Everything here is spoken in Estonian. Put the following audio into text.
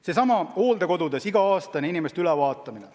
Seesama hooldekodudes iga-aastane inimeste ülevaatamine.